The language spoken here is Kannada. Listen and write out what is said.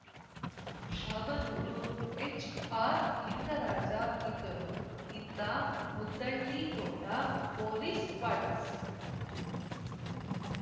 ಶಾಬನೂರು ಎಚ್‌ಆರ್‌ಲಿಂಗರಾಜ ಇದ್ದರು ಇತ್ತ ಮುದ್ದಳ್ಳಿ ತೋಟ ಪೊಲೀಸ್‌ ಕ್ವಾಟ್ರಸ್